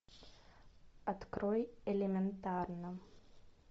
открой элементарно